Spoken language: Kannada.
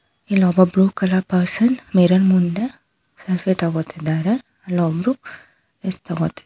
ಇಲ್ಲೊಬ್ಬ ಬ್ಲೂ ಕಲರ್ ಪರ್ಸನ್ ಮಿರರ್ ಮುಂದೆ ಸೆಲ್ಫಿ ತಗೋತಿದ್ದಾರೆ ಅಲ್ಲೊಬ್ರು ರೆಸ್ಟ್ ತಗೋತಿದ್ದಾರೆ.